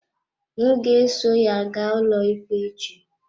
M ga-eso ya gaa ụlọikpe echi.